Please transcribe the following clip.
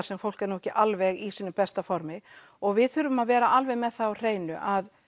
sem fólk er ekki alveg í sínu besta formi og við þurfum að vera alveg með það á hreinu að